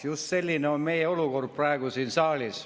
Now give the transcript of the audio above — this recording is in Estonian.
Just selline on meie olukord praegu siin saalis.